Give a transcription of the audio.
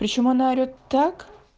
почему она орет так